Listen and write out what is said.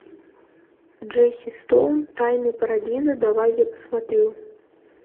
джесси стоун тайные парадиза давай я посмотрю